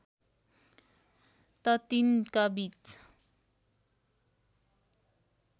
त तिनका बीच